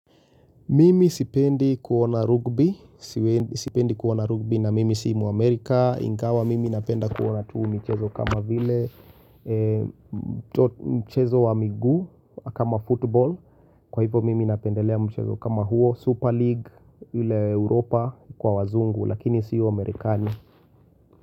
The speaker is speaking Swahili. Mimi sipendi kuona rugby, sipendi kuona rugby na mimi si mu Amerika, ingawa mimi napenda kuona tu michezo kama vile, mchezo wa miguu kama football, kwa hivyo mimi napendelea mchezo kama huo, Super League, ule Europa kwa wazungu, lakini siyo Amerikani.